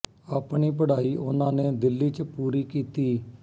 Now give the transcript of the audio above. ਆਪਣੀ ਪੜ੍ਹਾਈ ਉਹਨਾਂ ਨੇ ਦਿੱਲੀ ਕ ਪੂਰੀ ਕੀਤੀ